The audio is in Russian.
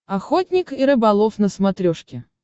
охотник и рыболов на смотрешке